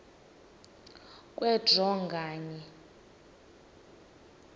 kwe draw nganye